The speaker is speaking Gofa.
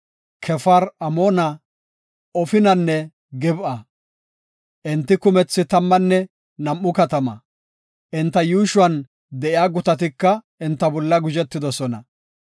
Kefaar-Amoona, Ofinanne Gib7a. Enti kumethi tammanne nam7u katama. Enta yuushuwan de7iya gutatika enta bolla guzhetoosona.